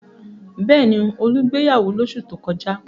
Bẹ́ẹ̀ ni, Olú gbéyàwó lóṣù tó kọjá.